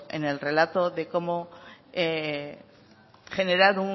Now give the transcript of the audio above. en el relato de cómo generar